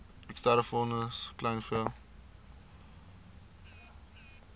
eksterne fondse kleinvee